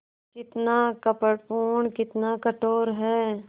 कितना कपटपूर्ण कितना कठोर है